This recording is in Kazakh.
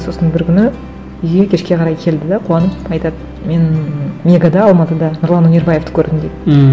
сосын бір күні үйге кешке қарай келді де қуанып айтады мен мегада алматыда нұрлан өнербаевты көрдім дейді ммм